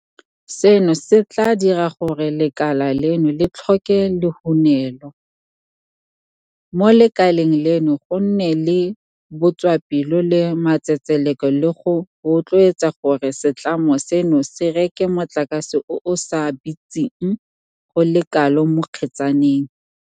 Seno se tla dira gore lekala leno le tlhoke lehunelo, mo lekaleng leno go nne le botswapelo le matsetseleko le go rotloetsa gore setlamo seno se reke motlakase o o sa bitseng go le kalo mo kgetsaneng.